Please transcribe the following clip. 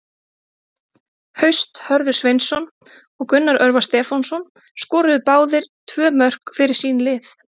Haust Hörður Sveinsson og Gunnar Örvar Stefánsson skoruðu báðir tvö mörk fyrir sín lið.